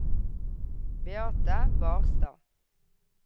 Beate Barstad